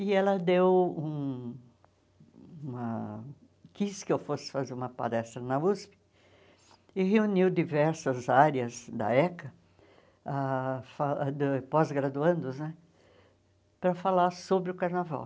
E ela deu um uma quis que eu fosse fazer uma palestra na USP e reuniu diversas áreas da ECA, ãh fa da pós-graduandos né, para falar sobre o carnaval.